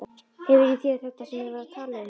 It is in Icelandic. Hefur í þér þetta sem ég var að tala um.